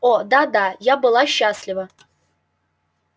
о да да я была счастлива